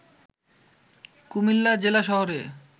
কুমিল্লা জেলা শহরে